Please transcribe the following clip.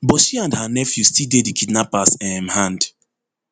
but she and her nephew still dey di kidnappers um hand